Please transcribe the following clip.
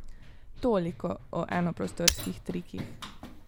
Toliko o enoprostorskih trikih.